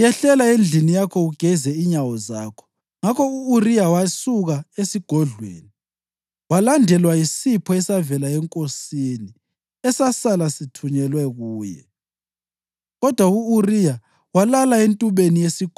UDavida wasesithi ku-Uriya, “Yehlela endlini yakho ugeze inyawo zakho.” Ngakho u-Uriya wasuka esigodlweni, walandelwa yisipho esavela enkosini esasala sithunyelwa kuye.